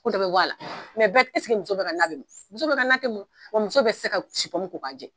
Ko dɔ bɛ b'o a la bɛɛ muso bɛɛ ka na bɛ mɔ, muso bɛɛ ka na mɔ wa muso bɛɛ tɛ se ka supɔmu ko k'a jɛ